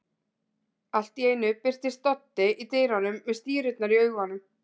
Allt í einu birtist Doddi í dyrunum með stírurnar í augunum.